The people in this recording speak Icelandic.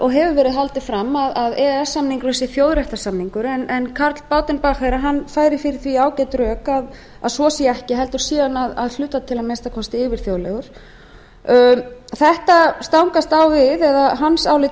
og hefur verið haldið fram að e e s samningurinn sé þjóðréttarsamningur en karl baudenbacher færir fyrir því ágæt rök að svo sé ekki heldur sé hann að hluta til að minnsta kosti yfirþjóðlegur hans álit